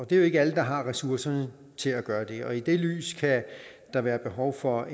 det er jo ikke alle der har ressourcerne til at gøre det og i det lys kan der være behov for